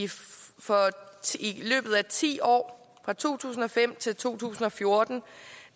løbet af ti år fra to tusind og fem til to tusind og fjorten